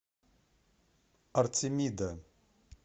артемида